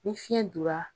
Ni fiɲɛ donra